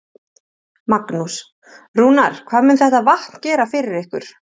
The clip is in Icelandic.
Magnús: Rúnar, hvað mun þetta vatn gera fyrir ykkur?